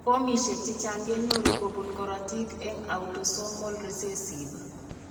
Fomishek chechang kenyoru kobun korotik en autosomal recessive